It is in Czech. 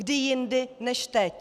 Kdy jindy než teď?